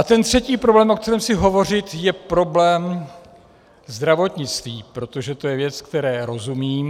A ten třetí problém, o kterém chci hovořit, je problém zdravotnictví, protože to je věc, které rozumím.